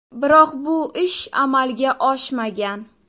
Biroq bu ish amalga oshmagan.